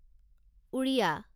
Odia